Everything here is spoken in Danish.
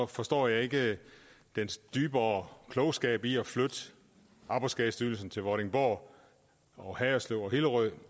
forstår jeg ikke den dybere klogskab i at flytte arbejdsskadestyrelsen til vordingborg og haderslev og hillerød